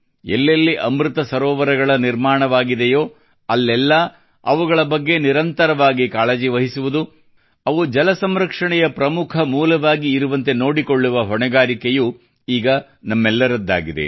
ಎಲ್ಲೆಲ್ಲಿ ಅಮೃತ ಸರೋವರಗಳ ನಿರ್ಮಾಣವಾಗಿದೆಯೋ ಅಲ್ಲೆಲ್ಲಾ ಅವುಗಳ ಬಗ್ಗೆ ನಿರಂತವಾಗಿ ಕಾಳಜಿ ವಹಿಸುವುದು ಅವು ಜಲ ಸಂರಕ್ಷಣೆಯ ಪ್ರಮುಖ ಮೂಲವಾಗಿ ಇರುವಂತೆ ನೋಡಿಕೊಳ್ಳುವ ಹೊಣೆಗಾರಿಕೆಯೂ ಈಗ ನಮ್ಮೆಲ್ಲರದ್ದಾಗಿದೆ